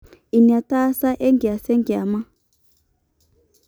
inaataasa enkias enkiama